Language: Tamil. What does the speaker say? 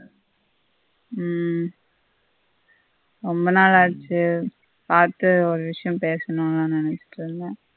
உம் ரொம்ப நாளாச்சி பார்த்து ஒரு விஷயம் பேசணும் நான் நினைக்கல்ல